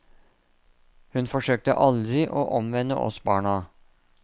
Hun forsøkte aldri å omvende oss barna.